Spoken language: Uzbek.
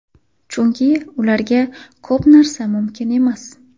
Chunki ularga ko‘p narsa mumkin emas.